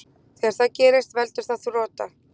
þegar það gerist veldur það þrota